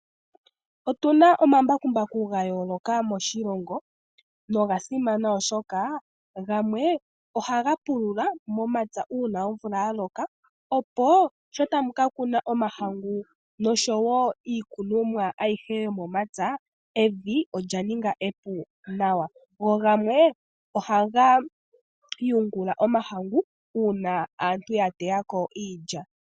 Otuna omambakumbaku ga yooloka moshilongo, na oga simana oshoka gamwe ohaga pulula momapya uuna omvula ya loka, opo sho tamu ka kuna omahangu noshowo iikunomwa ayihe yomomapya, evi olya ninga epu nawa. Go gamwe ohaga yungula omahangu uuna aantu ya teya ko iilya.